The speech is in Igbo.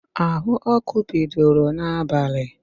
Áhụ̀ ọ́kụ́ bidoro n'abalị